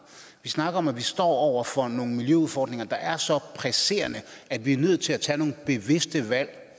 vi snakker om at vi står over for nogle miljøudfordringer der er så presserende at vi er nødt til at tage nogle bevidste valg